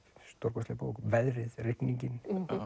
stórkostleg bók veðrið rigningin